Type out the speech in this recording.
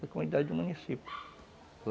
Na comunidade do município.